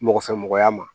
Mɔgɔfɛmɔgɔya ma